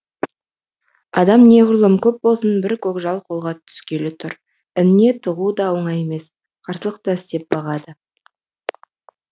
адам неғұрлым көп болсын бір көкжал қолға түскелі тұр ініне тығу да оңай емес қарсылық та істеп бағады